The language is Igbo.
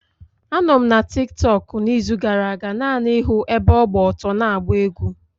Anọ m na Tiktọk n'izu gara-aga naanị ịhụ ebe ọ gba ọtọ na-agba egwú.